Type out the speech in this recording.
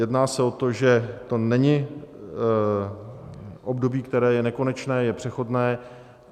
Jedná se o to, že to není období, které je nekonečné, je přechodné.